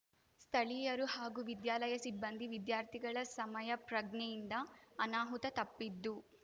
ಸ್ಥಳೀಯರು ಹಾಗೂ ವಿದ್ಯಾಲಯ ಸಿಬ್ಬಂದಿ ವಿದ್ಯಾರ್ಥಿಗಳ ಸಮಯಪ್ರಜ್ಞೆಯಿಂದ ಅನಾಹುತ ತಪ್ಪಿದ್ದು